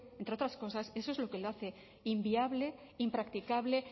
entre otras cosas eso es lo que le hace inviable impracticable